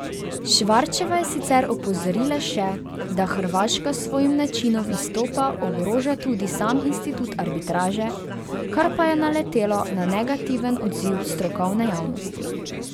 Švarčeva je sicer opozorila še, da Hrvaška s svojim načinom izstopa ogroža tudi sam institut arbitraže, kar pa je naletelo na negativen odziv strokovne javnosti.